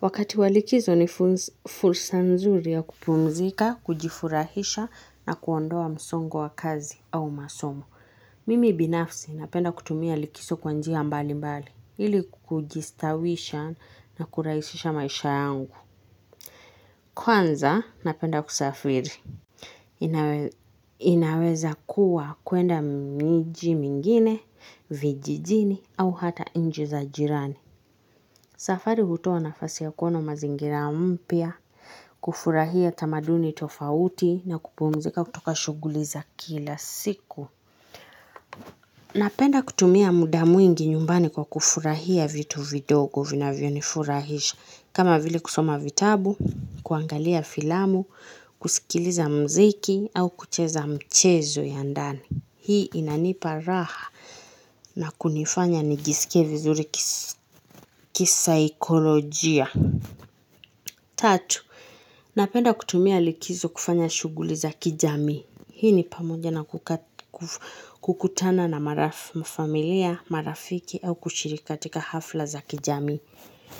Wakati wa likizo ni fursa nzuri ya kupumzika, kujifurahisha na kuondoa msongo wa kazi au masomo. Mimi binafsi napenda kutumia likizo kwa njia mbali mbali, ili kujistawisha na kurahisisha maisha yangu. Kwanza napenda kusafiri. Inaweza kuwa kuenda miji mingine, vijijini au hata nchi za jirani. Safari hutoa nafasi ya kuona mazingira mpya, kufurahia tamaduni tofauti na kupumzika kutoka shuguli za kila siku. Napenda kutumia muda mwingi nyumbani kwa kufurahia vitu vidogo vinavyonifurahisha kama vile kusoma vitabu, kuangalia filamu, kusikiliza muziki au kucheza mchezo ya ndani. Hii inanipa raha na kunifanya nijisike vizuri kisaikolojia. Tatu, napenda kutumia likizo kufanya shuguli za kijami. Hii ni pamoja na kukutana na marafi, familia, marafiki au kushiriki katika hafla za kijami.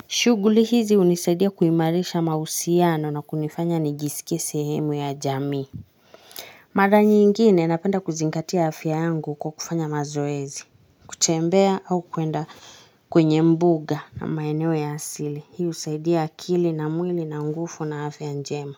Shuguli hizi hunisaidia kuimarisha mahusiano na kunifanya nijiskie sehemu ya jamii. Mara nyingine napenda kuzingatia afya yangu kwa kufanya mazoezi, kutembea au kuenda kwenye mbuga na maeneo ya asili. Hiu husaidia akili na mwili na nguvu na afya njema.